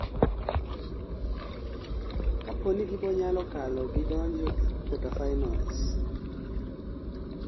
kaponi gibonyalo kalo gi donjo e kuota finals